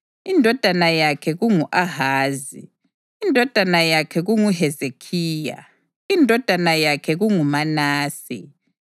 indodana yakhe kungu-Ahazi, indodana yakhe kunguHezekhiya, indodana yakhe kunguManase,